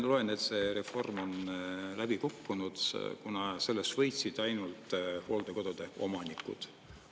Ma loen, et see reform on läbi kukkunud, kuna sellest võitsid ainult hooldekodude omanikud.